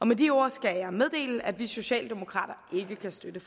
med de ord skal jeg meddele at vi socialdemokrater ikke kan støtte